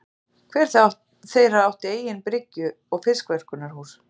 Hver þeirra átti eigin bryggju og fiskverkunarhús.